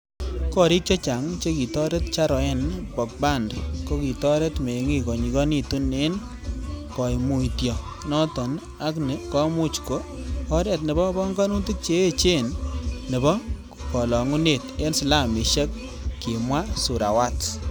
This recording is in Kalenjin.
Gorik chechang chekitoret Charoen Pokphand, kokitoret mengik konyigonitun en koimutio noton, ak ni komuch ko oret nebo pongonutik che echen nobo kolongunet en slamishek, kimwa Surawat.